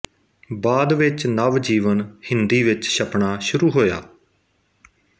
ਬਾਅਦ ਵਿੱਚ ਨਵਜੀਵਨ ਹਿੰਦੀ ਵਿੱਚ ਛਪਣਾ ਸ਼ੁਰੂ ਹੋਇਆ